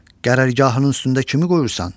Qərargahının üstündə kimi qoyursan?